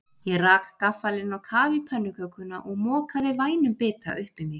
Ég rak gaffalinn á kaf í pönnukökuna og mokaði vænum bita upp í mig.